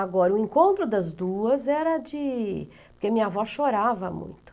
Agora, o encontro das duas era de... Porque minha avó chorava muito.